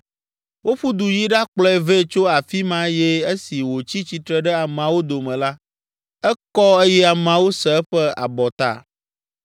Woƒu du yi ɖakplɔe vɛ tso afi ma eye esi wòtsi tsitre ɖe ameawo dome la, ekɔ eye ameawo se eƒe abɔta.